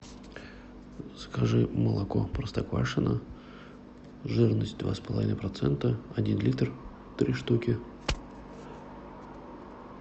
закажи молоко простоквашино жирность два с половиной процента один литр три штуки